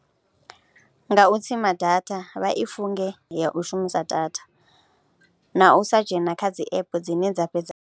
Nga u tsima data, vha i funge nga u shumisa data na u sa dzhena kha dzi app dzine dza fhedza.